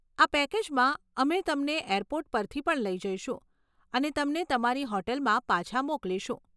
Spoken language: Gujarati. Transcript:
આ પેકેજમાં, અમે તમને એરપોર્ટ પરથી પણ લઈ જઈશું અને તમને તમારી હોટલમાં પાછા મોકલીશું.